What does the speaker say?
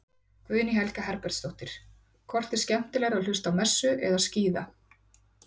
Guðný Helga Herbertsdóttir: Hvort er skemmtilegra að hlusta á messu eða skíða?